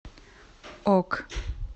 ок